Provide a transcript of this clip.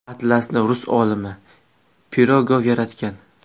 Atlasni rus olimi Pirogov yaratgan.